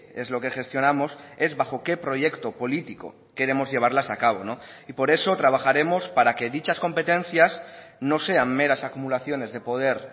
es lo que gestionamos es bajo qué proyecto político queremos llevarlas a cabo y por eso trabajaremos para que dichas competencias no sean meras acumulaciones de poder